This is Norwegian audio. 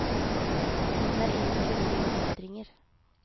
Tiden er inne for nye utfordringer.